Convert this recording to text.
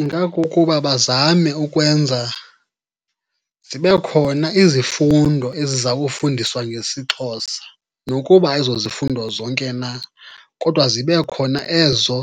Ingakukuba bazame ukwenza zibe khona izifundo eziza kufundiswa ngesiXhosa nokuba ayizozifundo zonke na, kodwa zibe khona ezo